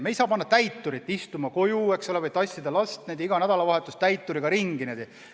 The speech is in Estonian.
Me ei saa panna täiturit lapse koju istuma või tassida last igal nädalavahetusel täituri saatel ringi.